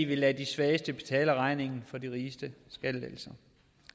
vil lade de svageste betale regningen for de rigestes skattelettelser